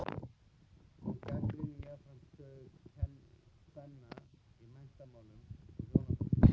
Hún gagnrýndi jafnframt stöðu kvenna í menntamálum og hjónabandi.